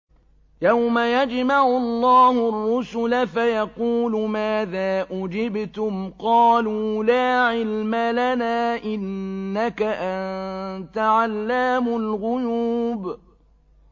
۞ يَوْمَ يَجْمَعُ اللَّهُ الرُّسُلَ فَيَقُولُ مَاذَا أُجِبْتُمْ ۖ قَالُوا لَا عِلْمَ لَنَا ۖ إِنَّكَ أَنتَ عَلَّامُ الْغُيُوبِ